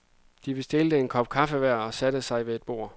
De bestilte en kop kaffe hver og satte sig ved et bord.